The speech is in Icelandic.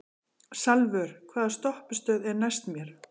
Salvör, hvaða stoppistöð er næst mér?